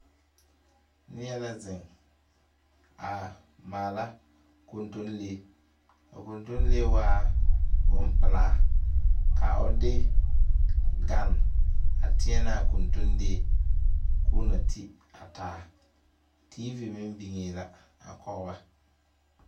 Neɛ la zeŋ a maala kontonlee a kontonlee waa bonpelaa ka o de gan a teɛnɛ a kontonlee koo na ti a teevi meŋ biŋee la a kɔge ba.